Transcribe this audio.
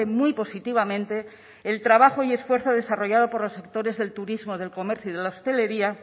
muy positivamente el trabajo y esfuerzo desarrollado por los sectores del turismo del comercio y de la hostelería